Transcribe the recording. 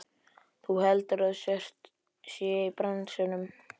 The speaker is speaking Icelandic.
Þú heldur að hún sé í bransanum!